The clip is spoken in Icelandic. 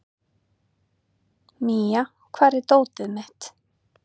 Mía, hvar er dótið mitt?